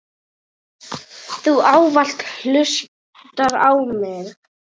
Þú ávallt hlustar á mig.